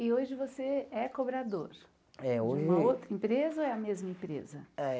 E hoje você é cobrador é hoje de uma outra empresa ou é a mesma empresa? Eh